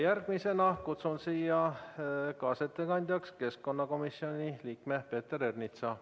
Järgmisena kutsun siia kaasettekandjaks keskkonnakomisjoni liikme Peeter Ernitsa.